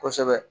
Kosɛbɛ